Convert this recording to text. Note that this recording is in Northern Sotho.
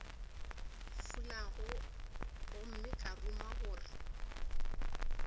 fulago gomme ka ruma gore